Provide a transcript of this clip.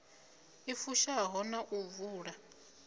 i fushaho na u vula